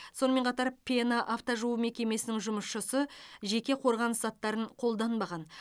сонымен қатар пена автожуу мекемесінің жұмысшысы жеке қорғаныс заттарын қолданбаған